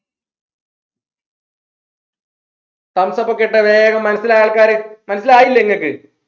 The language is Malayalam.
thumbs up ഒക്കെ ഇട്ടേ വേഗം മനസ്സിലായ ആൾക്കാർ മനസ്സിലായില്ലേ ഇങ്ങൾക്ക്